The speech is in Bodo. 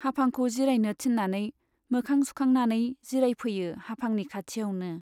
हाफांखौ जिरायनो थिन्नानै मोखां सुखांनानै जिरायफैयो हाफांनि खाथियावनो।